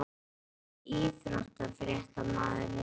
EKKI besti íþróttafréttamaðurinn?